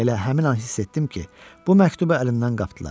Elə həmin an hiss etdim ki, bu məktubu əlindən qapdılar.